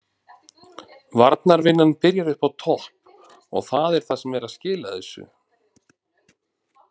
Varnarvinnan byrjar uppi á topp og það er það sem er að skila þessu.